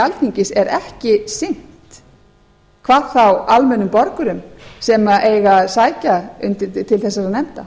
alþingis er ekki sinnt hvað þá almennum sem eiga að sækja til þessara nefnda